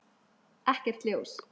Ekkert ljós.